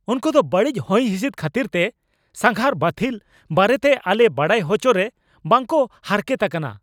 ᱩᱱᱠᱩᱫᱚ ᱵᱟᱹᱲᱤᱡ ᱦᱚᱭᱦᱤᱸᱥᱤᱫᱽ ᱠᱷᱟᱹᱛᱤᱨᱛᱮ ᱥᱟᱸᱜᱷᱟᱨ ᱵᱟᱹᱛᱷᱤᱞ ᱵᱟᱨᱮᱛᱮ ᱟᱞᱮ ᱵᱟᱲᱟᱭ ᱦᱚᱪᱚᱨᱮ ᱵᱟᱝ ᱠᱚ ᱦᱟᱨᱠᱷᱮᱛ ᱟᱠᱟᱱᱟ ᱾